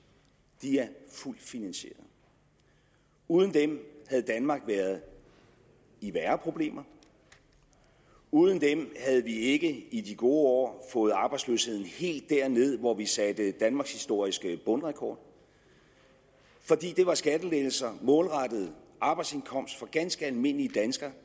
er fuldt finansierede uden dem havde danmark været i værre problemer uden dem havde vi ikke i de gode år fået arbejdsløsheden helt derned hvor vi satte danmarkshistorisk bundrekord for det var skattelettelser målrettet arbejdsindkomst for ganske almindelige danskere